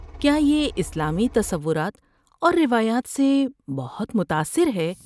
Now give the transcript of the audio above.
کیا یہ اسلامی تصورات اور روایات سے بہت متاثر ہے؟